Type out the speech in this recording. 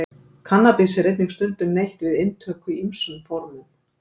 Kannabis er einnig stundum neytt við inntöku í ýmsum formum.